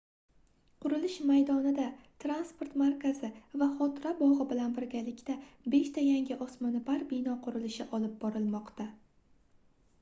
qurilish maydonida transport markazi va xotira bogʻi bilan birgalikda beshta yangi osmonoʻpar bino qurilishi olib borilmoqda